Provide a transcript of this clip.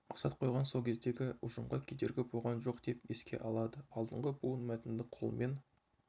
мақсат қойған сол кездегі ұжымға кедергі болған жоқ деп еске алады алдыңғы буын мәтінді қолмен